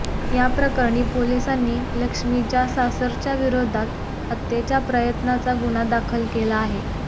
या प्रकरणी पोलिसांनी लक्ष्मीच्या सासरच्यांविरोधात हत्येच्या प्रयत्नाचा गुन्हा दाखल केला आहे